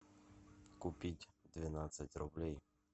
купить двенадцать рублей